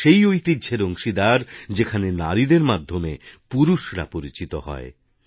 আমরা সেই ঐতিহ্যের অংশীদার যেখানে নারীদের মাধ্যেমে পুরুষেরা পরিচিত হয়